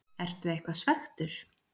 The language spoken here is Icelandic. Ertu eitthvað svekktur?